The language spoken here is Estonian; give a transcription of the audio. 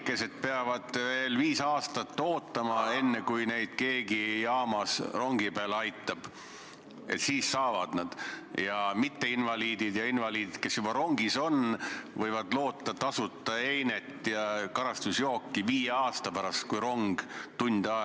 21. oktoobri istungil otsustas riigikaitsekomisjon konsensuslikult, et eelnõu esitatakse teiseks lugemiseks Riigikogu täiskogu päevakorda k.a 6. novembriks.